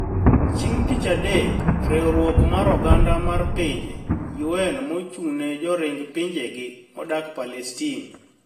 Chieng' Tich Adek, riwruok mar oganda mar pinje (UN) ma ochung' ne joring pinjegi modak Palestin